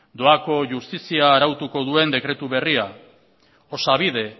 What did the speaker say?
doako justizia arautuko duen dekretu berria osabide